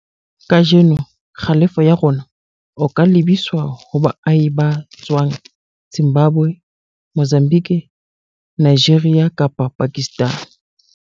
Kajeno, kgalefo ya rona o ka lebiswa ho baahi ba tswang Zimbabwe, Mozambique, Nigeria kapa Pakistan.